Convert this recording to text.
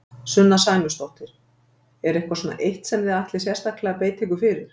Sunna Sæmundsdóttir: Er eitthvað svona eitt sem þið ætlið sérstaklega að beita ykkur fyrir?